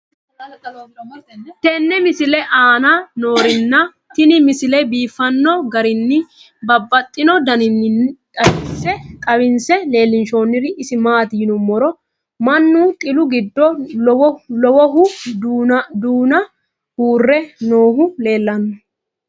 tenne misile aana noorina tini misile biiffanno garinni babaxxinno daniinni xawisse leelishanori isi maati yinummoro mannu xillu giddo lowohu duunna uure noohu leellanno